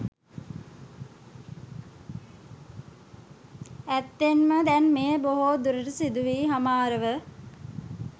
ඇත්තෙන්ම දැන් මෙය බොහෝ දුරට සිදුවී හමාරව